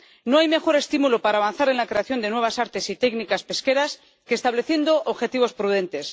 No hay mejor estímulo para avanzar en la creación de nuevas artes y técnicas pesqueras que estableciendo objetivos prudentes.